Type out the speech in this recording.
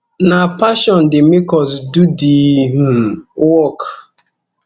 na passion dey make us do di um work